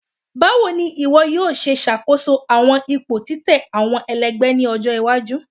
Bawo ni iwọ yoo ṣe ṣakoso awọn ipo titẹ awọn ẹlẹgbẹ ni ọjọ iwaju?